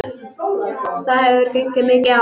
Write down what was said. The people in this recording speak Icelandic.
Það hefur gengið mikið á!